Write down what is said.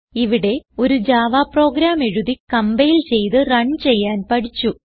ഇവിടെ ഒരു Java program എഴുതി കംപൈൽ ചെയ്ത് റൺ ചെയ്യാൻ പഠിച്ചു